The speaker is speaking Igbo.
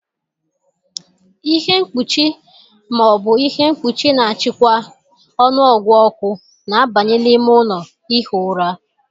Ihe mkpuchi ma ọ bụ ihe mkpuchi na-achịkwa ọnụọgụ ọkụ na-abanye n'ime ụlọ ihi ụra.